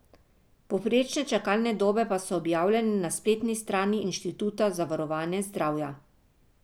Povprečne čakalne dobe pa so objavljene na spletni strani Inštituta za varovanje zdravja.